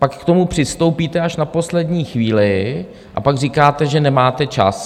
Pak k tomu přistoupíte až na poslední chvíli a pak říkáte, že nemáte čas.